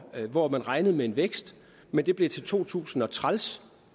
hvor man regnede med en vækst men det blev til to tusind og træls